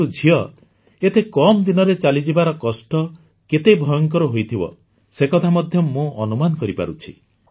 କିନ୍ତୁ ଝିଅ ଏତେ କମ ଦିନରେ ଚାଲିଯିବାର କଷ୍ଟ କେତେ ଭୟଙ୍କର ହୋଇଥିବ ସେ କଥା ମଧ୍ୟ ମୁଁ ଅନୁମାନ କରିପାରୁଛି